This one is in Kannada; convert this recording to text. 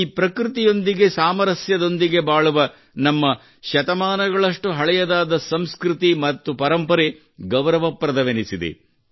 ಈ ಪ್ರಕೃತಿಯೊಂದಿಗೆ ಸಾಮರಸ್ಯದೊಂದಿಗೆ ಬಾಳುವ ನಮ್ಮ ಶತಮಾನಗಳಷ್ಟು ಹಳೆಯದಾದ ಸಂಸ್ಕೃತಿ ಮತ್ತು ಪರಂಪರೆ ಗೌರವಪ್ರದವೆನಿಸಿದೆ